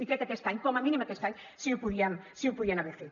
i crec que aquest any com a mínim aquest any sí que ho podien haver fet